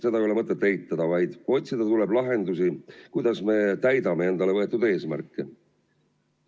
Seda ei ole mõtet eitada, vaid otsida tuleb lahendusi, kuidas me täidame endale võetud eesmärke.